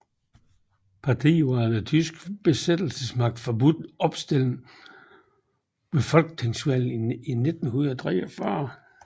Partiet var af den tyske besættelsesmagt forbudt opstilling ved folketingsvalget i 1943